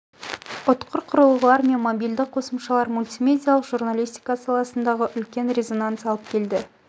ұтқыр құрылғылар мен мобильді қосымшалар мультимедиалық журналистика саласындағы үлкен резонанс алып келді